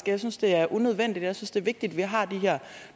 jeg synes det er unødvendigt og jeg synes det er vigtigt at vi har de her